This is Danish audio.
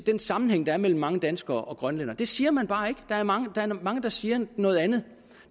den sammenhæng der er mellem mange danskere og grønlændere det siger man bare ikke der er mange der mange der siger noget andet